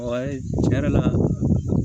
tiɲɛ yɛrɛ la